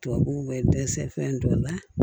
Tubabuw bɛ dɛsɛ fɛn dɔ la